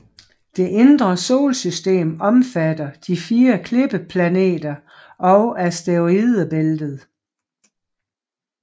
Det indre solsystem omfatter de fire klippeplaneter og asteroidebæltet